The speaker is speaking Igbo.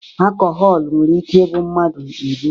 Akọhọl nwere ike ịbụ mmadụ ebu.